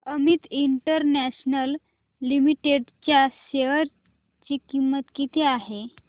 Amit international limited च्या share ची किंमत किती आहे